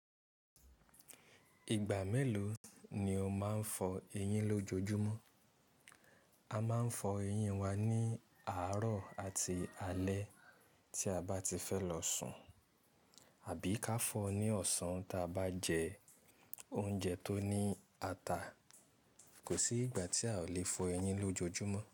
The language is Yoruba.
Ìgbà mélòó ni o máa ń fọ eyín lójoojúmọ́? A máa ń fọ eyín wa ní àárọ̀ àti alẹ́ tí a bá ti fẹ́ lọ sùn, àbí ká fọ ní ọ̀sán tí a bá jẹ oúnjẹ tó ní ata. Kò sí ìgbà tí a ò le fọ eyín lójoojúmọ́.